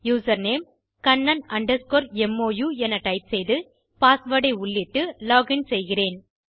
username Kannan underscore mo எனத் type செய்து password உள்ளிட்டு லோகின் செய்கிறேன்